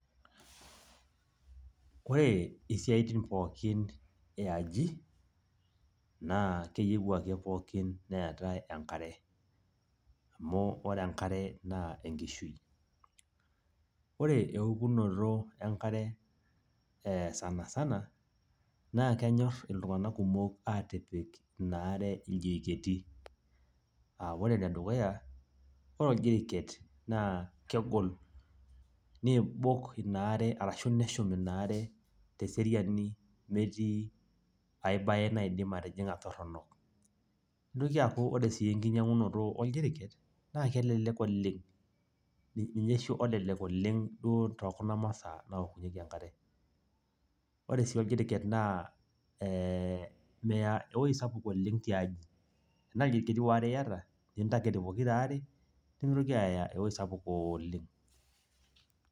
ore isitin pookin yiaaji naa keyiu ake pookinneetae enkare. amu ore enkare naa enkishui. ore eukunoto enkare, esanasana naa kenyor iltunganak kumok aatipik ina are iljiriketi.aa ore ene dukuya ore oljiriket. naa kegol. neibok inaare ashu neshum inare teseriani, nemetii ae bae naidim atijinga toronok. notoki aaku ore sii enkinyiangunoto oljiriken naa kelelek oleng. ninye oshui lololek oleng tee kuna masaanaokunyieki enkare. ore sii oljiriken naa meya ewueji sapuk oleng te nkaji te naa aare iyata nintaked nemeitoki aaya ewuei sapuk ooleng.